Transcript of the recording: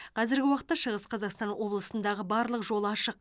қазіргі уақытта шығыс қазақстан облысындағы барлық жол ашық